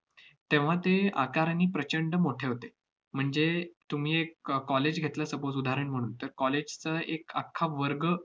तेव्हा ते आकारांनी प्रचंड मोठे होते, म्हणजे तुम्ही एक कॉ~ college घेतलं suppose उदाहरण म्हणून, तर college चं एक अख्खा वर्ग